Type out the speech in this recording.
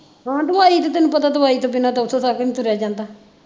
ਹਾਂ ਦਵਾਈ ਤੇ ਤੈਨੂੰ ਪਤਾ ਦਵਾਈ ਤੋ ਬਿਨਾਂ ਤਾਂ ਉਥੋਂ ਤੱਕ ਨੀ ਤੁਰਿਆ ਜਾਂਦਾ